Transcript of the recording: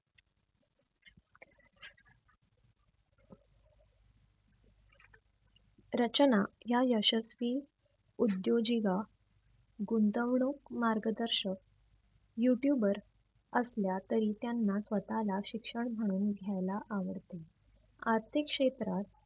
रचना या यशस्वी उद्योजिगा गुंतवणूक मार्गदर्शक YOUTUBER वर असल्या तरी त्यांना स्वतःला शिक्षण म्हणून घ्यायला आवडते. आर्थिक क्षेत्रात